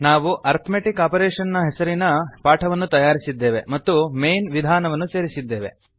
ನಾವು ಅರಿತ್ಮೆಟಿಕ್ ಆಪರೇಷನ್ನ ಹೆಸರಿನ ಪಾಠವನ್ನು ತಯಾರಿಸಿದ್ದೇವೆ ಮತ್ತು ಮೈನ್ ವಿಧಾನವನ್ನು ಸೇರಿಸಿದ್ದೇವೆ